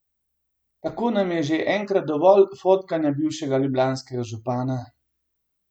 Tako nam je že enkrat dovolj fotkanja bivšega ljubljanskega župana!